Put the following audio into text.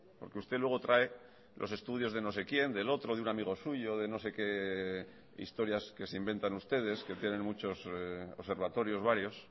porque usted luego trae los estudios de no sé quién del otro de un amigo suyo de no sé qué historias que se inventan ustedes que tienen muchos observatorios varios